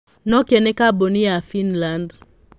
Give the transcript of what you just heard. Nokia nĩ kambuni ya Finland.